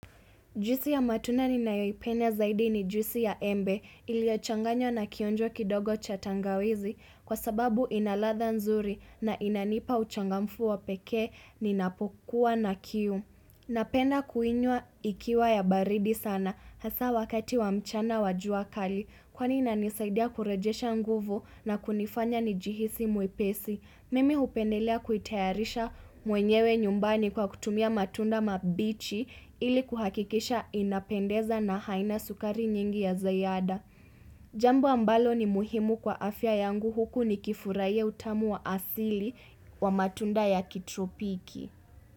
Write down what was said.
Juisi ya matunda ninayoipenda zaidi ni juisi ya embe iliochanganywa na kionjwa kidogo cha tangawizi kwa sababu ina ladha nzuri na inanipa uchangamfu wa peke ninapokuwa na kiu. Napenda kuinywa ikiwa ya baridi sana hasa wakati wa mchana wa jua kali kwani inanisaidia kurejesha nguvu na kunifanya nijihisi mwepesi. Mimi hupendelea kuitayarisha mwenyewe nyumbani kwa kutumia matunda mabichi ili kuhakikisha inapendeza na haina sukari nyingi ya ziada. Jambo ambalo ni muhimu kwa afya yangu huku ni kifurahia utamu wa asili wa matunda ya kitropiki.